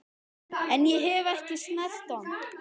En ég hef ekki snert hann.